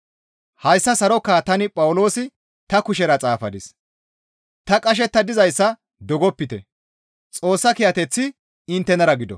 Hayssa sarokaa tani Phawuloosi ta kushera xaafadis; ta qashetta dizayssa dogopite; Xoossa kiyateththi inttenara gido.